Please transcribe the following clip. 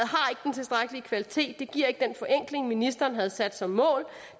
ved kvalitet det giver ikke den forenkling ministeren havde sat som mål og